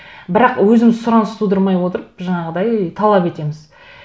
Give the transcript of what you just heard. бірақ өзіміз сұраныс тудырмай отырып жаңағыдай талап етеміз